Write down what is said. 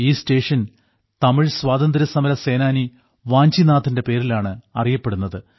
ഈ സ്റ്റേഷൻ തമിഴ് സ്വാതന്ത്ര്യസമരസേനാനി വാഞ്ചിനാഥന്റെ പേരിലാണ് അറിയപ്പെടുന്നത്